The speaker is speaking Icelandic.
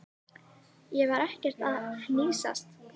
Ég var ekkert að hnýsast.